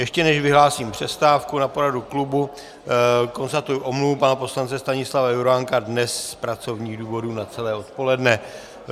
Ještě než vyhlásím přestávku na poradu klubu, konstatuji omluvu pana poslance Stanislava Juránka, dnes z pracovních důvodů na celé odpoledne.